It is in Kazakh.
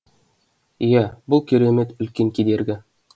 иә бұл керемет үлкен кедергі